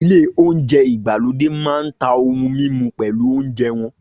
Ilé oúnjẹ ìgbàlódé máa ń ta ohun mímu pẹ̀lú oúnjẹ wọn